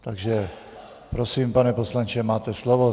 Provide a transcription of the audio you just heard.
Takže prosím, pane poslanče, máte slovo.